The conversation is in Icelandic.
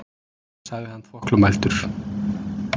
sagði hann þvoglumæltur.